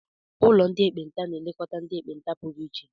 Ụlọ ndị ekpenta na-elekọta ndị ekpenta pụrụ iche.